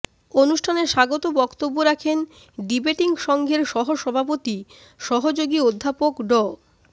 অনুষ্ঠানে স্বাগত বক্তব্য রাখেন ডিবেটিং সংঘের সহসভাপতি সহযোগী অধ্যাপক ড